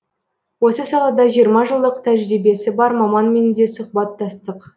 осы салада жиырма жылдық тәжірибесі бар маманмен де сұхбаттастық